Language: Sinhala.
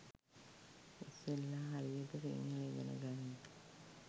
ඉස්සෙල්ලා හරියට සිංහල ඉගෙන ගනින්